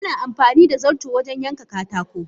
Ana amfanida zarto wajen yanka katako.